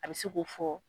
A bɛ se k'o fɔ